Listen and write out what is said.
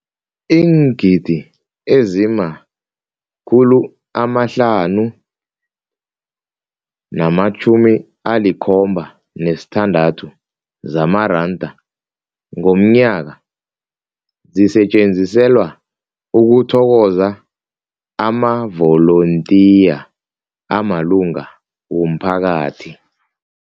Iingidi ezima-576 zamaranda ngomnyaka zisetjenziselwa ukuthokoza amavolontiya amalunga womphakathi.